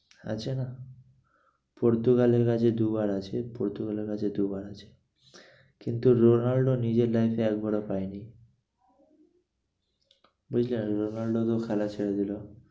আছে না পর্তুগালের কাছে দু বার আছে, পর্তুগালের কাছে দু বার আছে। কিন্তু রোলান্ড নিজের এ একবারও পায়নি। বুঝলে রোলান্ড তো খেলা ছেড়ে দিলো।